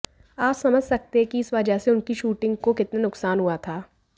आप समझ सकते हैं कि इस वजह से उनकी शूटिंग को कितना नुकसान हुआ था